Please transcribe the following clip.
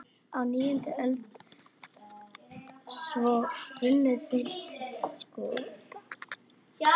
Á níundu öld eða svo runnu þeir saman við Skota.